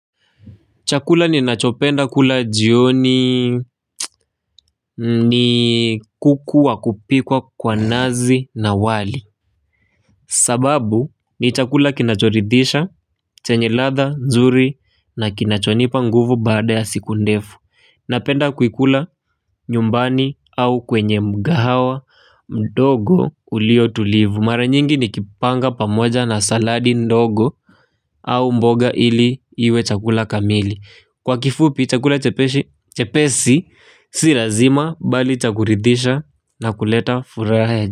Chakula ninachopenda kula jioni ni kuku wa kupikwa kwa nazi na wali. Sababu ni chakula kinachoridhisha, chenye ladha, nzuri na kinachonipa nguvu baada ya siku ndefu. Napenda kuikula nyumbani au kwenye mgahawa mdogo ulio tulivu. Mara nyingi nikipanga pamoja na saladi ndogo au mboga ili iwe chakula kamili. Kwa kifupi chakula chepesi si lazima bali cha kuridhisha na kuleta furaha ya jika.